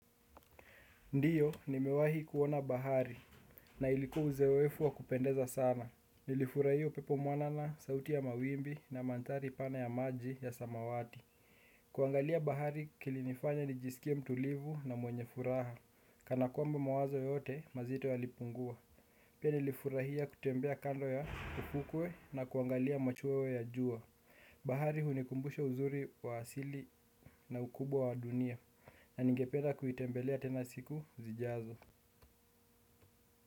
Ndiyo, nimewahi kuona bahari na ilikua uzoefu wa kupendeza sana. Nilifurahia pepo mwanana, sauti ya mawimbi na manthari pana ya maji ya samawati. Kuangalia bahari kilinifanya nijisikie mtulivu na mwenye furaha. Kana kwamba mwazo yote, mazito yalipungua. Pia nilifurahia kutembea kando ya ufukwe na kuangalia machweo ya juwa. Bahari hunikumbusha uzuri wa asili na ukubwa wa dunia. Na nungependa kuitembelea tena siku zijazo.